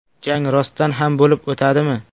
Jang rostdan ham bo‘lib o‘tadimi?